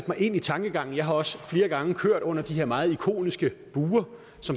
mig ind i tankegangen jeg har også flere gange kørt under de her meget ikoniske buer